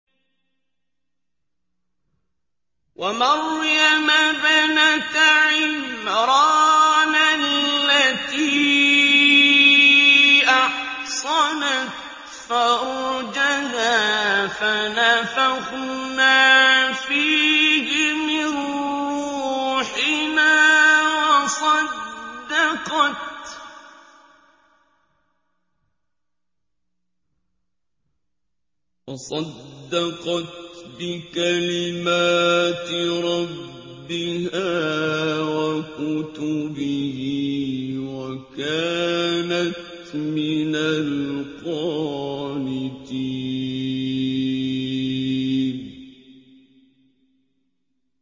وَمَرْيَمَ ابْنَتَ عِمْرَانَ الَّتِي أَحْصَنَتْ فَرْجَهَا فَنَفَخْنَا فِيهِ مِن رُّوحِنَا وَصَدَّقَتْ بِكَلِمَاتِ رَبِّهَا وَكُتُبِهِ وَكَانَتْ مِنَ الْقَانِتِينَ